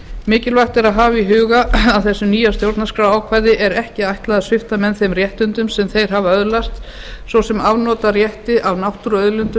mikilvægt er að hafa í huga að þessu nýja stjórnarskrárákvæði er ekki ætlað að svipta menn þeim réttindum sem þeir hafa öðlast svo sem afnotarétti af náttúruauðlindum eða